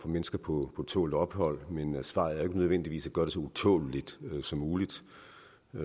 mennesker på tålt ophold men svaret er ikke nødvendigvis at gøre det så utåleligt som muligt